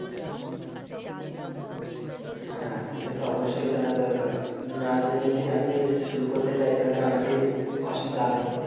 হ্যাঁ সেটা তো অবশ্যই জানা দরকার না জেনে যদি আমি শুরু করতে যায় তাহলে আমারই অসুবিধা হবে।